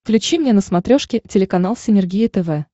включи мне на смотрешке телеканал синергия тв